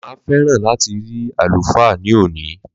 Ma féràn láti ri àlùfáà ní òní